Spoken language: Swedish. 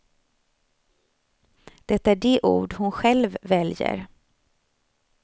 Det är de ord hon själv väljer.